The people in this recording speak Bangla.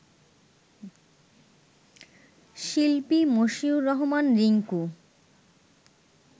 শিল্পী মশিউর রহমান রিংকু